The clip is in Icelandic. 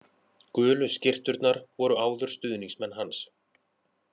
Gulu skyrturnar voru áður stuðningsmenn hans